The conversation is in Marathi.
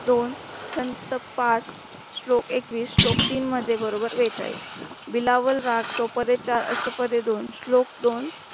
दोन चॅत पार श्लोक एकविस श्लोक तीन मध्ये बरोबर बेचाळीस बिलावल राग चौपदे चार अष्टपदे दोन श्लोक दोन